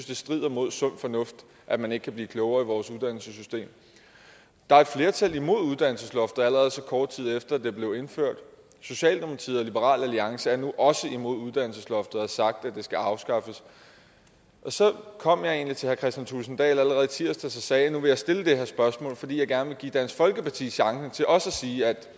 det strider imod sund fornuft at man ikke kan blive klogere i vores uddannelsessystem der er et flertal imod uddannelsesloftet allerede så kort tid efter at det blev indført socialdemokratiet og liberal alliance er nu også imod uddannelsesloftet og har sagt at det skal afskaffes så kom jeg egentlig til herre kristian thulesen dahl allerede i tirsdags og sagde at nu ville jeg stille det her spørgsmål fordi jeg gerne vil give dansk folkeparti chancen for også at sige